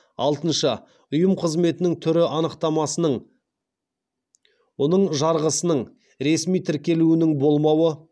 алтыншы ұйым қызметінің түрі анықтамасының оның жарғысының ресми тіркелуінің болмауы